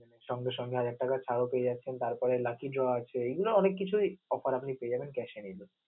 সঙ্গে সঙ্গে হাজার টাকা ছাড়ও পেয়ে যাচ্ছেন. তারপরে lucky draw আছে এগুলো অনেক কিছুই offer আপনি পেয়ে যাবেন cash এ নিলে